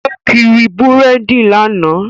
Ó kiri búrèdì lánàá